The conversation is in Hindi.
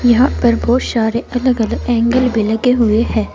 यहां पर बहुत सारे अलग अलग एंगल पे लगे हुए हैं।